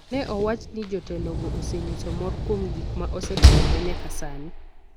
Ne owach ni jotelogo osenyiso mor kuom gik ma osetimore nyaka sani,